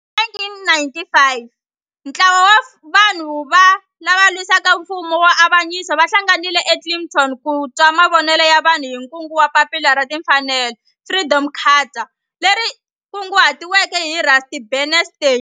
Hi 1955 ntlawa wa vanhu lava ava lwisana na nfumo wa avanyiso va hlanganile eKliptown ku twa mavonelo ya vanhu hi kungu ra Papila ra Tinfanelo Freedom Charter leri kunguhatiweke hi Rusty Bernstein.